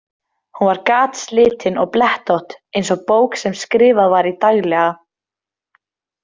Hún var gatslitin og blettótt eins og bók sem skrifað var í daglega.